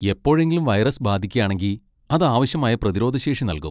എപ്പോഴെങ്കിലും വൈറസ് ബാധിക്കാണെങ്കി അത് ആവശ്യമായ പ്രതിരോധശേഷി നൽകും.